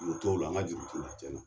Juru t''o la n ka juru tɛ don a cɛ la.